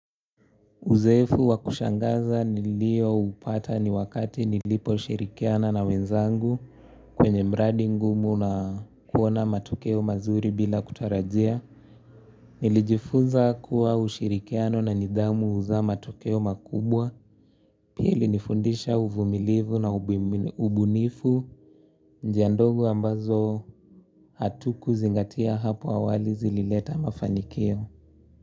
Uzoefu wa kushangaza nilioupata ni wakati niliposhirikiana na wenzangu kwenye mradi ngumu na kuona matokeo mazuri bila kutarajia. Nilijifunza kuwa ushirikiano na nidahmu huzaa matokeo makubwa. Pia ilinifundisha uvumilivu na ubunifu njia ndogo ambazo hatukuzlingatia hapo awali zilileta mafanikio.